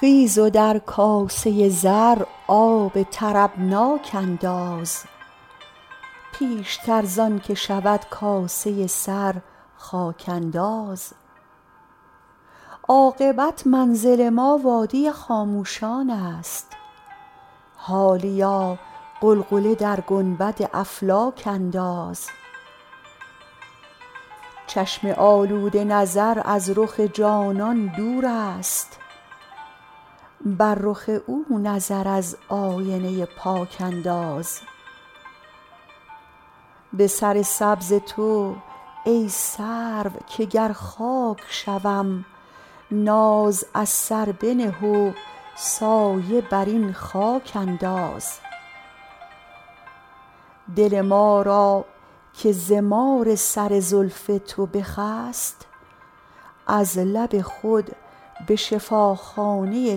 خیز و در کاسه زر آب طربناک انداز پیشتر زان که شود کاسه سر خاک انداز عاقبت منزل ما وادی خاموشان است حالیا غلغله در گنبد افلاک انداز چشم آلوده نظر از رخ جانان دور است بر رخ او نظر از آینه پاک انداز به سر سبز تو ای سرو که گر خاک شوم ناز از سر بنه و سایه بر این خاک انداز دل ما را که ز مار سر زلف تو بخست از لب خود به شفاخانه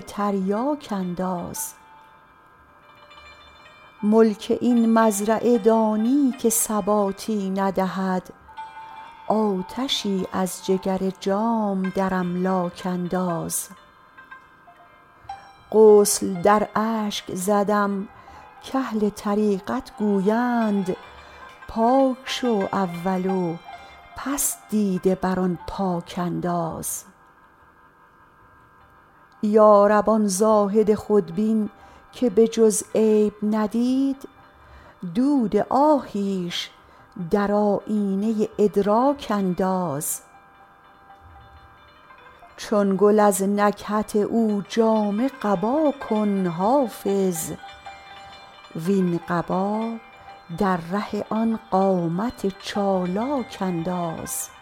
تریاک انداز ملک این مزرعه دانی که ثباتی ندهد آتشی از جگر جام در املاک انداز غسل در اشک زدم کاهل طریقت گویند پاک شو اول و پس دیده بر آن پاک انداز یا رب آن زاهد خودبین که به جز عیب ندید دود آهیش در آیینه ادراک انداز چون گل از نکهت او جامه قبا کن حافظ وین قبا در ره آن قامت چالاک انداز